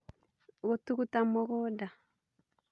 Gũtũgũta mũgũnda